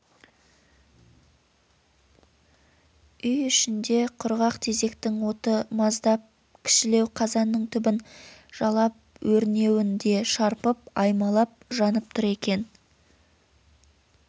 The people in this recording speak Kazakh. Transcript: үй ішінде құрғақ тезектің оты маздап кішілеу қазанның түбін жалап ернеуін де шарпып аймалап жанып тұр екен